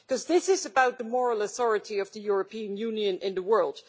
This is about the moral authority of the European Union in the world.